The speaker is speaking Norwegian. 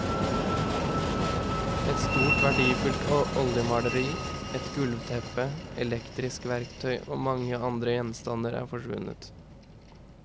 Et stort verdifullt oljemaleri, et gulvteppe, elektrisk verktøy og mange andre gjenstander er forsvunnet.